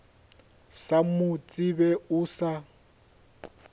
sa mo tsebe o sa